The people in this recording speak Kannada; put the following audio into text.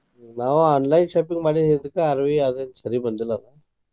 ನಾವ್ online shopping ಮಾಡಿದಿದಕ್ಕ ಅರ್ವಿ ಅದಕ್ಕ್ ಸರಿ ಬಂದಿಲ್ಲ ಅವ.